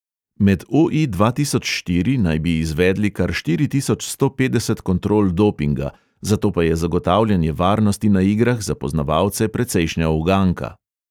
Med o|i dva tisoč štiri naj bi izvedli kar štiri tisoč sto petdeset kontrol dopinga, zato pa je zagotavljanje varnosti na igrah za poznavalce precejšnja uganka.